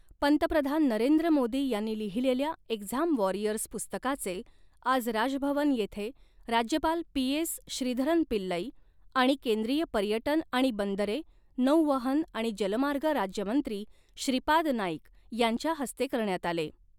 पंतप्रधान नरेंद्र मोदी यांनी लिहिलेल्या एक्झाम वॉरियर्स पुस्तकाचे आज राजभवन येथे राज्यपाल पी एस श्रीधरन पिल्लई आणि केंद्रीय पर्यटन आणि बंदरे, नौवहन आणि जलमार्ग राज्यमंत्री श्रीपाद नाईक यांच्या हस्ते करण्यात आले.